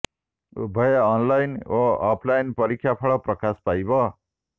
ଉଭୟ ଅନଲାଇନ ଓ ଅଫଲାଇନ ପରୀକ୍ଷା ଫଳ ପ୍ରକାଶ ପାଇବ